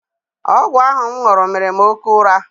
Ọgwụ ahụ m ṅụrụ mere m oké ụra.